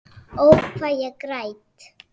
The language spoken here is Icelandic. Ó, hvað ég græt.